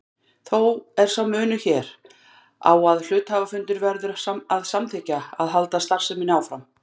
Þó er sá munur hér á að hluthafafundur verður að samþykkja að halda starfseminni áfram.